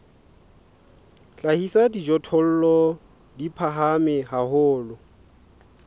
hlahisa dijothollo di phahame haholo